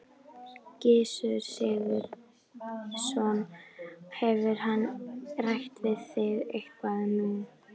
Gissur Sigurðsson: Hefur hann rætt við þig eitthvað nú þegar?